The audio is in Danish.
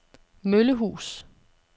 Møllehus